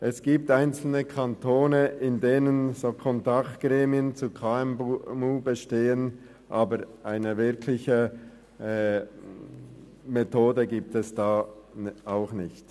Es gibt einzelne Kantone, in welchen solche Kontaktgremien zu KMU bestehen, aber eine wirkliche Methode existiert auch da nicht.